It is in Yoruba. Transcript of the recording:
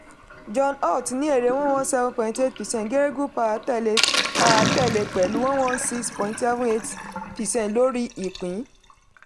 john holt ní èrè one one seven point eight percent geregu power tẹ̀lé power tẹ̀lé pẹ̀lú one one six point seven eight percent lórí ìpín.